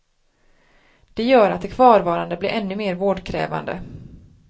Det gör att de kvarvarande blir ännu mer vårdkrävande.